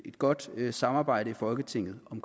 et godt samarbejde i folketinget om